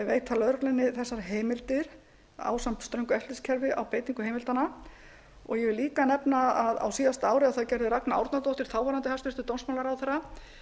veita lögreglunni þessar heimildir ásamt ströngu eftirlitskerfi á beitingu heimildanna ég vil líka nefna að á síðasta ári gerði ragna árnadóttir þáverandi hæstvirtur dómsmálaráðherra